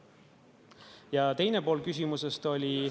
Ja teine pool küsimusest oli ...